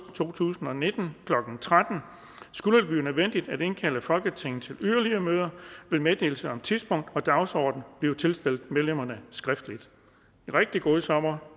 to tusind og nitten klokken tretten skulle det blive nødvendigt at indkalde folketinget til yderligere møder vil meddelelse om tidspunkt og dagsorden blive tilstillet medlemmerne skriftligt rigtig god sommer